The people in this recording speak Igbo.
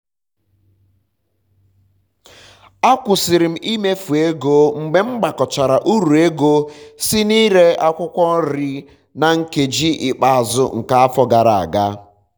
akwụsiri m imefu ego mgbe m gbakọchara uru ego si na ire akwụkwọ nri na nkeji ikpeazụ nke afọ gara aga